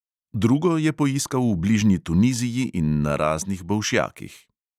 Drugo je poiskal v bližnji tuniziji in na raznih bolšjakih.